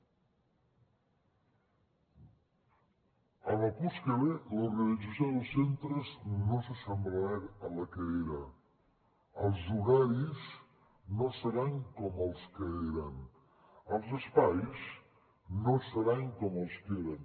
en el curs que ve l’organització dels centres no s’assemblarà a la que era els horaris no seran com els que eren els espais no seran com els que eren